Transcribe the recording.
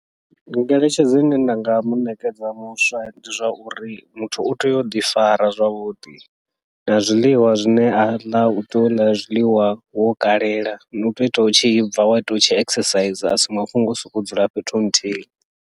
Ngeletshedzo ine nda nga muṋekedza muswa, ndi zwa uri muthu utea uḓi fara zwavhuḓi na zwiḽiwa zwine aḽa utea uḽa zwiḽiwa wo kalela, utea uitela u tshi bva wa ṱwa u tshi exercise asi mafhungo au sokou dzula fhethu nthihi.